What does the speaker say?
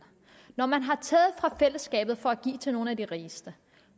når man har taget fra fællesskabet for at give til nogle af de rigeste